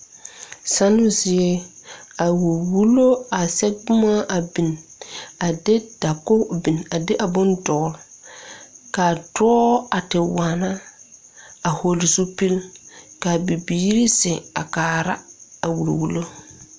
Zannoo zie a wulli wullo are sɛge boma a bin a de dakoge bin a de a bon dɔɔle kaa dɔɔ a ti waana a hɔɔle zupil kaa bibiire zeŋ a kaara a wulli wullo.